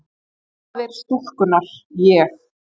Faðir stúlkunnar: Ég?